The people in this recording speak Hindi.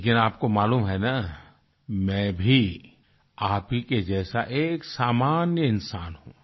लेकिन आपको मालूम है ना मैं भी आप ही के जैसा एक सामान्य इंसान हूँ